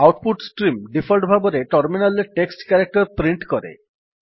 out put stream default ଭାବରେ terminal ରେ text character print କରେ